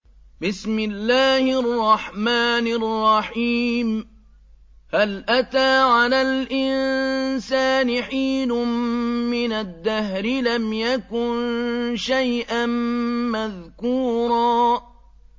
هَلْ أَتَىٰ عَلَى الْإِنسَانِ حِينٌ مِّنَ الدَّهْرِ لَمْ يَكُن شَيْئًا مَّذْكُورًا